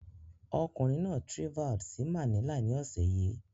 Ọkùnrin náà trvalled sí Manila ní ọ̀sẹ̀ yìí